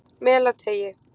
Melateigi